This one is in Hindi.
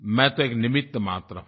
मैं तो एक निमित्तमात्र हूँ